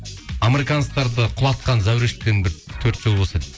американстарды құлатқан зәурештен бір төрт жол болса дейді